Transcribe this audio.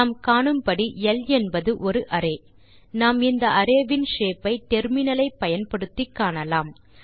நாம் காணும்படி ல் என்பது ஒரு அரே நாம் இந்த அரே இன் ஷேப் ஐ டெர்மினல் ஐ பயன்படுத்தி காணலாம்